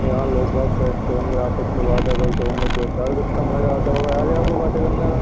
यहाँ लोग भाग बैठते होंगे आपस में बातें करते होंगे दो चार कितना मजा आता हो यहां पर बातें करने में।